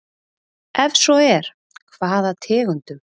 Ef svo er, hvaða tegundum?